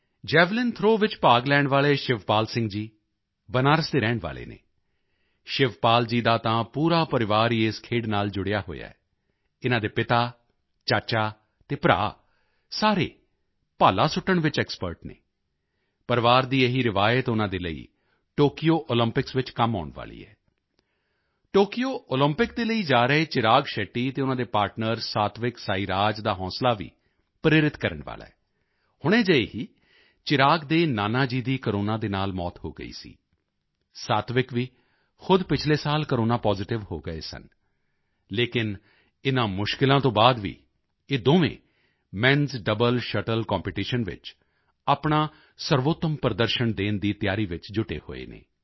javelin throw ਵਿੱਚ ਭਾਗ ਲੈਣ ਵਾਲੇ ਸ਼ਿਵਪਾਲ ਸਿੰਘ ਜੀ ਬਨਾਰਸ ਦੇ ਰਹਿਣ ਵਾਲੇ ਹਨ ਸ਼ਿਵਪਾਲ ਜੀ ਦਾ ਤਾਂ ਪੂਰਾ ਪਰਿਵਾਰ ਹੀ ਇਸ ਖੇਡ ਨਾਲ ਜੁੜਿਆ ਹੋਇਆ ਹੈ ਇਨ੍ਹਾਂ ਦੇ ਪਿਤਾ ਚਾਚਾ ਅਤੇ ਭਰਾ ਸਾਰੇ ਭਾਲਾ ਸੁੱਟਣ ਵਿੱਚ ਐਕਸਪਰਟ ਹਨ ਪਰਿਵਾਰ ਦੀ ਇਹੀ ਰਵਾਇਤ ਉਨ੍ਹਾਂ ਦੇ ਲਈ ਟੋਕਯੋ ਓਲੰਪਿਕਸ ਵਿੱਚ ਕੰਮ ਆਉਣ ਵਾਲੀ ਹੈ ਟੋਕਯੋ ਓਲੰਪਿਕ ਦੇ ਲਈ ਜਾ ਰਹੇ ਚਿਰਾਗ ਸ਼ੈੱਟੀ ਅਤੇ ਉਨ੍ਹਾਂ ਦੇ ਪਾਰਟਨਰ ਸਾਤਵਿਕ ਸਾਈਰਾਜ ਦਾ ਹੌਸਲਾ ਵੀ ਪ੍ਰੇਰਿਤ ਕਰਨ ਵਾਲਾ ਹੈ ਹੁਣੇ ਜਿਹੇ ਹੀ ਚਿਰਾਗ ਦੇ ਨਾਨਾ ਜੀ ਦੀ ਕੋਰੋਨਾ ਨਾਲ ਮੌਤ ਹੋ ਗਈ ਸੀ ਸਾਤਵਿਕ ਵੀ ਖੁਦ ਪਿਛਲੇ ਸਾਲ ਕੋਰੋਨਾ ਪਾਜ਼ਿਟਿਵ ਹੋ ਗਏ ਸਨ ਲੇਕਿਨ ਇਨ੍ਹਾਂ ਮੁਸ਼ਕਿਲਾਂ ਤੋਂ ਬਾਅਦ ਵੀ ਇਹ ਦੋਵੇਂ menਸ ਡਬਲ ਸ਼ਟਲ ਕੰਪੀਟੀਸ਼ਨ ਵਿੱਚ ਆਪਣਾ ਸਰਵੋਤਮ ਪ੍ਰਦਰਸ਼ਨ ਦੇਣ ਦੀ ਤਿਆਰੀ ਵਿੱਚ ਜੁਟੇ ਹੋਏ ਹਨ